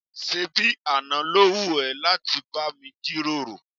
ṣébi àná ló wù ẹ́ láti bá mi jíròrò?